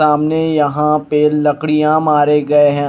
सामने यहां पे लकड़ियां मारे गए हैं।